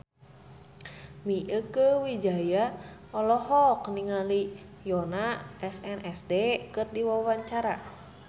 Mieke Wijaya olohok ningali Yoona SNSD keur diwawancara